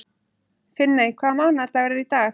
Finney, hvaða mánaðardagur er í dag?